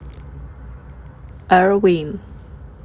эр вин